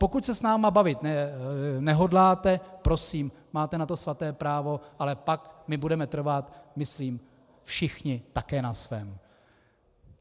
Pokud se s námi bavit nehodláte, prosím, máte na to svaté právo, ale pak my budeme trvat myslím všichni také na svém.